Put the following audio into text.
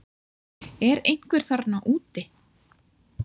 Er einhver þarna úti